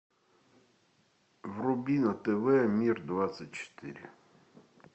вруби на тв мир двадцать четыре